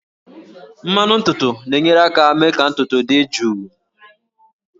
Mmanụ ntutu na-enyere aka mee ka ntutu dị jụụ